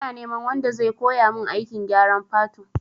Ina neman wanda zai koya mun aikin gyaran fatu